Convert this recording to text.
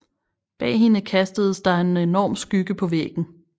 Bag hende kastedes der en enorm skygge på væggen